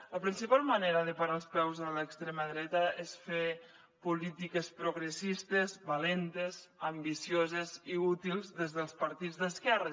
la principal manera de parar els peus a l’extrema dreta és fer polítiques progressistes valentes ambicioses i útils des dels partits d’esquerres